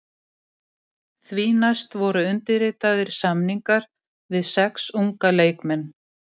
Því næst voru undirritaðir samningar við sex unga leikmenn.